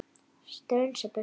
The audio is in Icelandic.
Strunsa burtu.